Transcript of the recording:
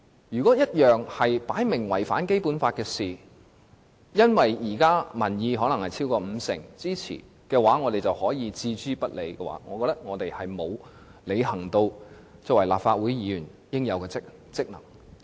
如果一件事明顯違反《基本法》，卻因為現時可能有超過五成民意支持，我們就置諸不理，那麼我們並沒有履行立法會議員應有的職能。